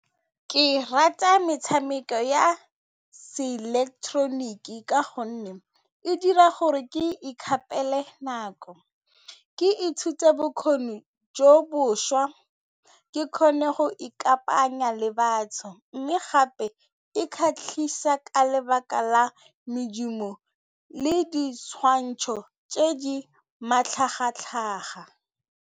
Ke rata metshameko ya seileketeroniki ka gonne e dira gore ke ka nako, ke ithuta bokgoni jo bošwa ke kgone go ikanyega le batho mme gape e kgatlhisa ka lebaka la medumo le ditshwantsho tse di matlhagatlhaga.